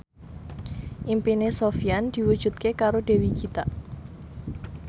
impine Sofyan diwujudke karo Dewi Gita